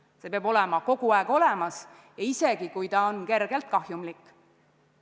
See kõik peab olema kogu aeg olemas ja isegi siis, kui see on kergelt kahjumlik.